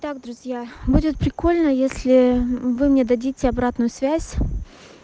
так друзья будет прикольно если вы мне дадите обратную связь